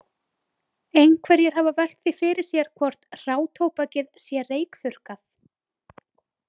Einhverjir hafa velt því fyrir sér hvort hrátóbakið sé reykþurrkað.